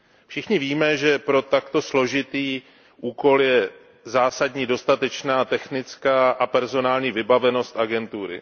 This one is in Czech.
Všichni víme, že pro takto složitý úkol je zásadní dostatečná technická a personální vybavenost agentury.